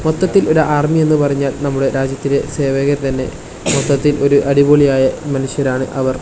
മൊത്തത്തിൽ ഒരു ആർമി എന്നു പറഞ്ഞാൽ നമ്മുടെ രാജ്യത്തില് സേവകർ തന്നെ മൊത്തത്തിൽ ഒരു അടിപൊളിയായ മനുഷ്യരാണ് അവർ.